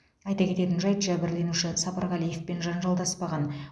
айта кететін жайт жәбірленуші сапарғалиевпен жанжалдаспаған